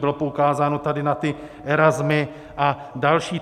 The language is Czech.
Bylo poukázáno tady na ty Erasmy a další.